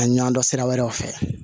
A ɲ'an dɔn sira wɛrɛw fɛ